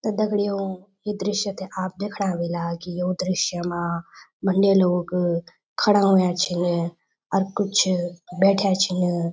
त दगड़ियों ये दृश्य थे आप दैखणा ह्वेला की यो दृश्य मा भंड्या लोग खड़ा हुंया छिन अर कुछ बैठ्याँ छिन।